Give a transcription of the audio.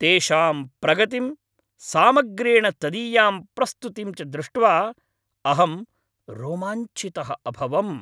तेषां प्रगतिं, सामग्र्येण तदीयां प्रस्तुतिं च दृष्ट्वा अहं रोमाञ्चितः अभवम्।